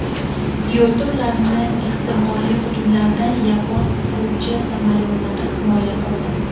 Yo‘lda ularni ehtimoliy hujumlardan yapon qiruvchi samolyotlari himoya qildi.